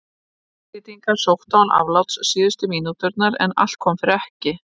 Madrídingar sóttu án afláts síðustu mínúturnar en allt kom fyrir ekki.